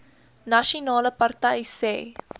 nasionale party sê